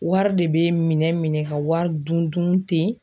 Wari de bɛ minɛ minɛ ka wari dun dun ten.